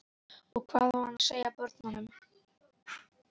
Og hvað á hann að segja börnunum?